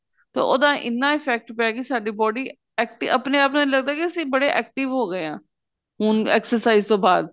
ਤਾਂ ਉਹਦਾ ਇੰਨਾ effect ਪਿਆ ਕੀ ਸਾਡੀ body active ਆਪਣੇ ਆਪ ਲੱਗਦਾ ਕੀ ਅਸੀਂ ਬੜੇ active ਹੋ ਗਏ ਆ ਹੁਣ exercise ਤੋਂ ਬਾਅਦ